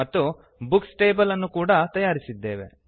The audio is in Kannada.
ಮತ್ತು ಬುಕ್ಸ್ ಟೇಬಲ್ ಅನ್ನು ಕೂಡ ತಯಾರಿಸಿದ್ದೇವೆ